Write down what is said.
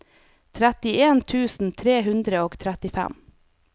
trettien tusen tre hundre og trettifem